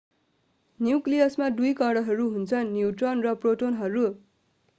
न्यूक्लियसमा दुई कणहरू हुन्छन् न्यूट्रोन र प्रोटोनहरू